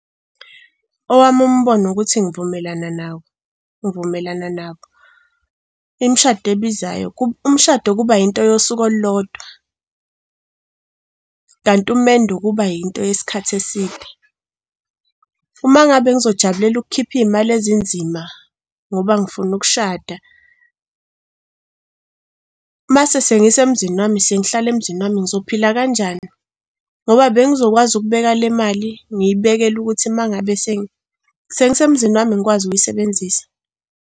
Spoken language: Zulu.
Owami umbono ukuthi ngivumelana nawo, ngivumelana nabo. Umshado kuba yinto yosuku olulodwa kanti umendo kuba yinto yesikhathi eside. Uma ngabe ngizojabulela ukukhipha iy'mali ezinzima ngoba ngifuna ukushada, mase sengisemzini wami, sengihlala emzini wami ngizophila kanjani? Ngoba bengizokwazi ukubeka le mali, ngiyibekele ukuthi uma ngabe sengisemzini wami ngikwazi ukuyisebenzisa.